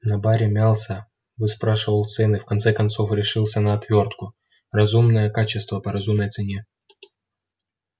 на баре мялся выспрашивал цены в конце концов решился на отвёртку разумное качество по разумной цене